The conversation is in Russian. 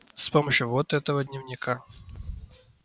с помощью вот этого дневника